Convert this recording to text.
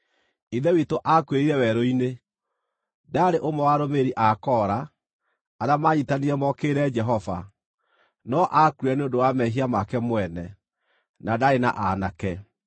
“Ithe witũ aakuĩrĩire werũ-inĩ. Ndaarĩ ũmwe wa arũmĩrĩri a Kora, arĩa manyiitanire mokĩrĩre Jehova, no aakuire nĩ ũndũ wa mehia make mwene na ndaarĩ na aanake.